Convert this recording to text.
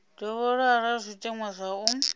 dovhololwa arali zwiteṅwa zwa u